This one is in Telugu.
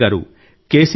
సురేఖ గారు కె